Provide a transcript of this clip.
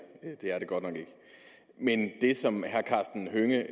er det godt nok ikke men det som herre karsten hønge